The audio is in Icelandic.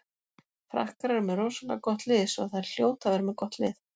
Frakkar eru með rosalega gott lið svo þær hljóta að vera með gott lið.